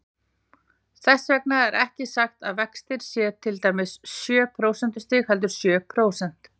Þess vegna er ekki sagt að vextir séu til dæmis sjö prósentustig, heldur sjö prósent.